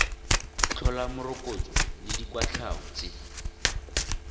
tlhola morokotso le dikwatlhao tse